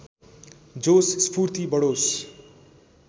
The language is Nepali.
जोश स्फूर्ति बढोस्